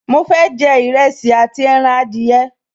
Mo fẹ́ jẹ Ìrẹsì àti ẹran adìyẹ